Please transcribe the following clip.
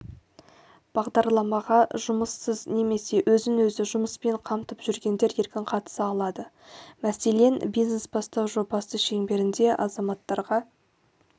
бағдарламаға жұмыссыз немесе өзін-өзі жұмыспен қамтып жүргендер еркін қатыса алады мәселен бизнес-бастау жобасы шеңберінде азаматтарға